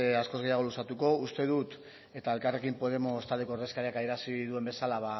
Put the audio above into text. askoz gehiago luzatuko uste dut eta elkarrekin podemos taldeko ordezkariak adierazi duen bezala